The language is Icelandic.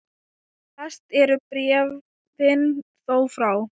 Flest eru bréfin þó frá